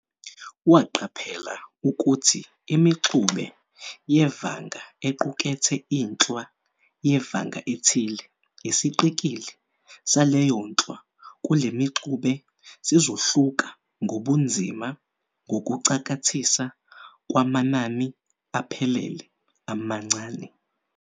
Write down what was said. Waqaphela ukuthi imiXube yevanga equkethe inhlwa yevanga ethile, isiqikili saleyonhlwa kulemiXube sizohluka ngobunzima ngokucakathisa kwamanani aphelele amancane.